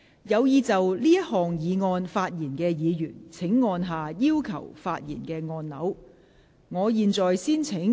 有意就這項議案發言的議員請按下"要求發言"按鈕。